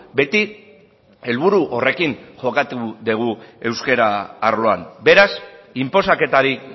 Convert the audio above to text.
beti helburu horrekin jokatu dugu euskara arloan beraz inposaketarik